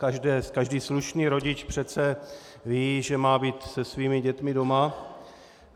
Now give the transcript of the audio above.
Každý slušný rodič přece ví, že má být se svými dětmi doma.